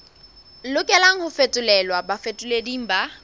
lokelang ho fetolelwa bafetoleding ba